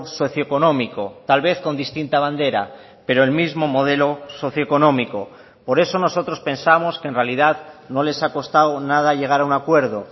socioeconómico tal vez con distinta bandera pero el mismo modelo socioeconómico por eso nosotros pensamos que en realidad no les ha costado nada llegar a un acuerdo